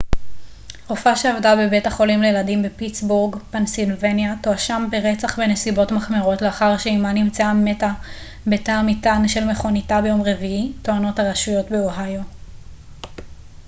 רופאה שעבדה בבית החולים לילדים בפיטסבורג פנסילבניה תואשם ברצח בנסיבות מחמירות לאחר שאמה נמצאה מתה בתא המטען של מכוניתה ביום רביעי טוענות הרשויות באוהיו